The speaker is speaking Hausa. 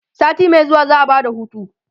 sati Mai zuwa za'a Bada hutu